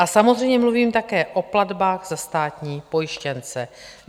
A samozřejmě mluvím také o platbách za státní pojištěnce.